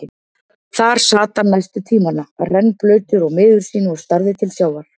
Þar sat hann næstu tímana, rennblautur og miður sín og starði til sjávar.